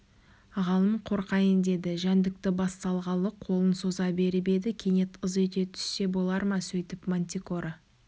ғалым қорқайын деді жәндікті бас салғалы қолын соза беріп еді кенет ыз ете түссе болар ма сөйтіп мантикора